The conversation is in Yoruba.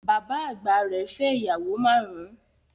Bàbá àgbà rẹ̀ fẹ́ ìyàwó márùn-ún